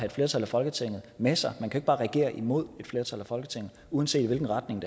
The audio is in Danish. et flertal af folketinget med sig man kan bare regere imod et flertal i folketinget uanset i hvilken retning